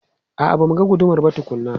A'a, ba mu ga gudumar ba tukuna.